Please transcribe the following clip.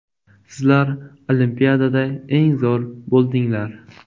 Sizlar Olimpiadada eng zo‘r bo‘ldinglar.